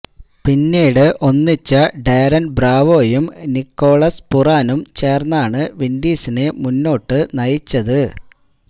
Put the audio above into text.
പിന്നീട് ഒന്നിച്ച ഡാരൻ ബ്രാവോയും നിക്കോളാസ് പുറാനും ചേർന്നാണ് വിൻഡീസിനെ മുന്നോട് നയിച്ചത്